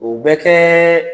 O bɛ kɛ